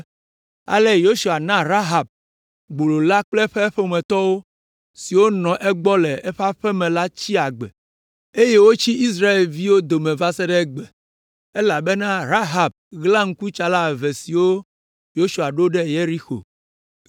Ale Yosua na Rahab, gbolo la kple eƒe ƒometɔ siwo nɔ egbɔ le eƒe aƒe me la tsi agbe, eye wotsi Israelviwo dome va se ɖe egbe, elabena Rahab ɣla ŋkutsala eve siwo Yosua ɖo ɖe Yeriko.